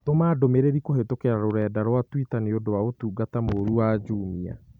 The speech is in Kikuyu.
Tũma ndũmĩrĩri kũhĩtũkĩra rũrenda rũa tũita nĩũndũ wa ũtungata mũũrũ wa Jumia